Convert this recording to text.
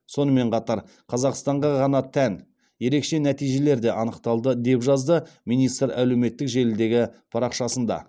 сонымен қатар қазақстанға ғана тән ерекше нәтижелер де анықталды деп жазды министр әлеуметтік желідегі парақшасында